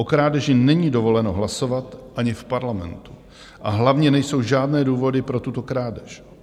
O krádeži není dovoleno hlasovat ani v parlamentu, a hlavně nejsou žádné důvody pro tuto krádež."